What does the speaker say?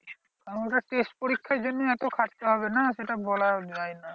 কারণ ওটা test পরীক্ষার জন্যই এত খাটতে হবে না সেটা বলা যায় না।